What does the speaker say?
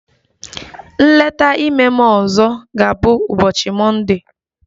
Nleta ime m ọzọ ga-abụ ụbọchi mọnde